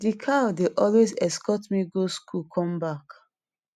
di cow dey always escort me go school come back